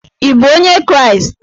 Ị bụ onye Kraịst?